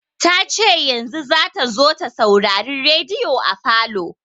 Ta ce yanzu za ta zo ta saurari rediyo a falo.